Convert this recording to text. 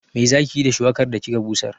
Me zaki yi da shuwakar da kika busar?